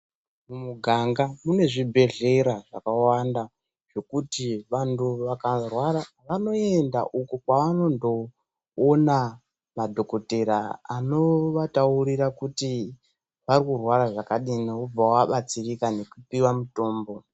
Mumuganga mune zvibhedhlera zvakawanda zvokuti vandu vakarwara vanoenda uko kwavanondoona madhokoteya anovataurira kuti vakurwara zvakadii vobva vabatsirika nekupihwa mitombo.